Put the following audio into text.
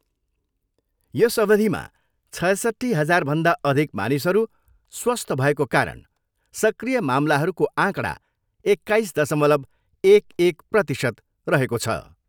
यस अविधमा छयसट्ठी हजारभन्दा अधिक मानिसहरू स्वस्थ्य भएको कारण सक्रिय मामलाहरूको आँकडा एक्काइस दशमलव एक एक प्रतिशत रहेको छ।